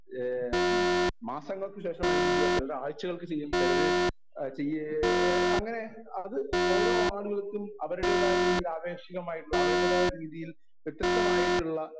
Speaker 1 ഏഹ് മാസങ്ങൾക്കു ശേഷമായിരിക്കും ചെയ്യുക. ചിലര് ആഴ്ചകൾക്ക് ശേഷം ചിലര് ചെയ്യേ അങ്ങനെ അത് ഓരോ ആളുകൾക്കും അവരുടേതായ രീതിയിൽ അപേക്ഷികമായിട്ടുള്ള അവരുടേതായ രീതിയിൽ വത്യസ്തമായിട്ടുള്ള